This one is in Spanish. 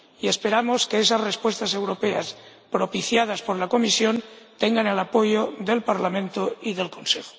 Y esperamos que esas respuestas europeas, propiciadas por la Comisión, tengan el apoyo del Parlamento y del Consejo.